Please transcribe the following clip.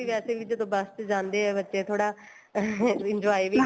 ਵੈਸੇ ਵੀ ਜਦੋਂ ਬੱਸ ਤੇ ਜਾਂਦੇ ਏ ਬੱਚੇ ਥੋੜਾ ਅਹ enjoy ਵੀ